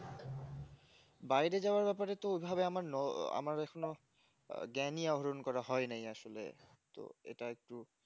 বাইরে যাওয়ার ব্যাপারে তো ওভাবে আমার নো আমার এখনো জ্ঞানী আহরণ করা হয় নাই আসলে তো এটা একটু